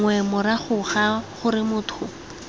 nngwe morago ga gore motho